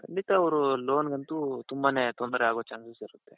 ಖಂಡಿತ ಅವ್ರ loanಗoತು ತುಂಬಾನೇ ತೊಂದ್ರೆ ಆಗೋ chances ಇರುತ್ತೆ.